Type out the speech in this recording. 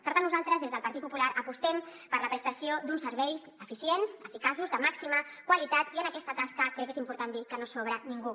per tant nosaltres des del partit popular apostem per la prestació d’uns serveis eficients eficaços de màxima qualitat i en aquesta tasca crec que és important dir que no sobra ningú